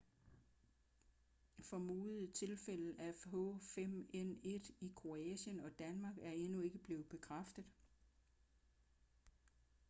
formodede tilfælde af h5n1 i kroatien og danmark er endnu ikke blevet bekræftet